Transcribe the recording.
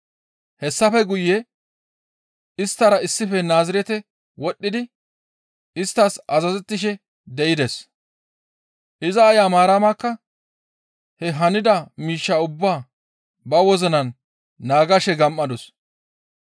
Hessafe guye isttara issife Naazirete wodhdhidi isttas azazettishe de7ides. Iza aaya Maaramakka he hanida miishshaa ubbaa ba wozinan naagashe gam7adus.